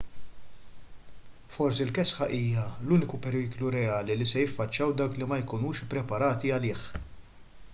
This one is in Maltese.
forsi l-kesħa hija l-uniku periklu reali li se jiffaċċjaw dawk li ma jkunux ippreparati għalih